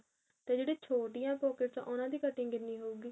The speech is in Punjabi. ਤੇ ਜਿਹੜੇ ਛੋਟੀਆਂ pockets ਉਹਨਾ ਦੀ cutting ਕਿੰਨੀ ਹੋਊਗੀ